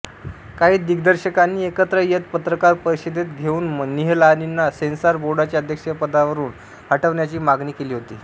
काही दिग्दर्शकांनी एकत्र येत पत्रकार परिषदेत घेऊन निहलानींना सेन्सॉर बोर्डाच्या अध्यक्षपदावरून हटवण्याची मागणी केली होती